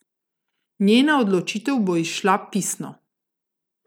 Njena odločitev bo izšla pisno.